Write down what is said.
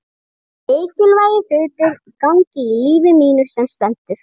Það eru mikilvægir hlutir í gangi í lífi mínu sem stendur.